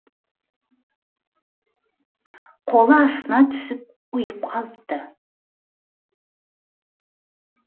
қолы астына түсіп ұйып қалыпты